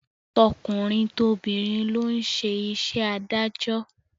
Tọkùnrin tobìnrin ló ń ṣe iṣẹ́ adájọ́